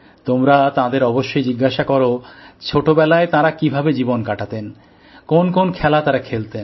তোমরা তাঁদের অবশ্যই জিজ্ঞেস করো ছোটবেলায় তাঁরা কীভাবে জীবন কাটাতেন কোন কোন খেলা তারা খেলতেন